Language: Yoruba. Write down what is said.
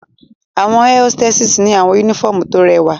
Awọn air hositessi ni awọn unifọmú to rẹwa